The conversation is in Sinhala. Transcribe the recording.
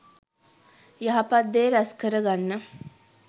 යහපත් දේ රැස් කරගන්න